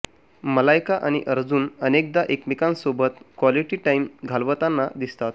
मलायका आणि अर्जुन अनेकदा एकमेकांसोबत क्वालिटी टाईम घालवताना दिसतात